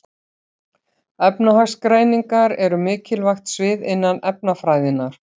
Efnagreiningar eru mikilvægt svið innan efnafræðinnar.